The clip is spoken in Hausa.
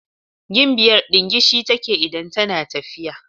Gimbiyar dingishi take idan tana tafiya.